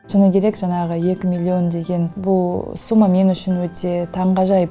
шыны керек жаңағы екі миллион деген бұл сумма мен үшін өте таңғажайып